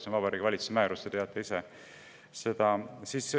See on Vabariigi Valitsuse määrus, te teate seda.